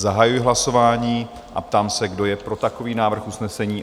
Zahajuji hlasování a ptám se, kdo je pro takový návrh usnesení?